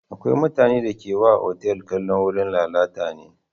Akwai mutanen da ke wa otal kallon wurin lalata ne.